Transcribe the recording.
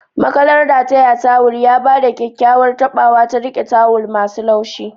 makalar rataye tawul ya ba da kyakkyawar taɓawa ta riƙe tawul masu laushi.